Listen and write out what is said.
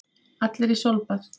Allir í sólbað!